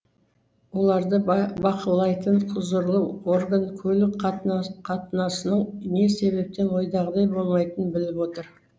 оларды бақылайтын құзырлы орган көлік қатынасының не себептен ойдағыдай болмайтынын біліп отыр